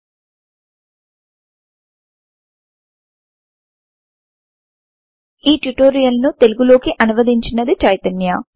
మీ భాగరికానికి మరియు ప్రతిపుష్టి కి స్వాగతం ఈ ట్యూటోరియల్ ను తెలుగు లోకి అనువదించింది చైతన్య